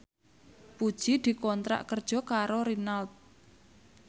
Puji dikontrak kerja karo Renault